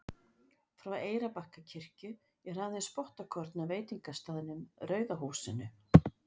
Frá Eyrarbakkakirkju er aðeins spottakorn að veitingastaðnum Rauða húsinu.